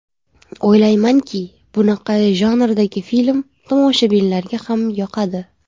O‘ylaymanki, bunaqa janrdagi film tomoshabinlarga ham yoqadi.